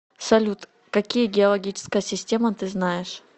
салют какие геологическая система ты знаешь